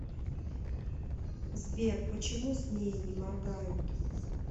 сбер почему змеи не моргают